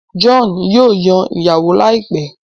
John yíò Yàn ìyàwó láìpé.